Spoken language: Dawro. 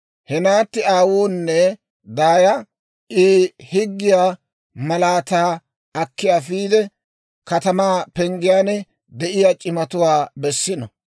he naatti aawunne daaya I higgiyaa malaataa akki afiide, katamaa penggiyaan de'iyaa c'imatuwaa bessino.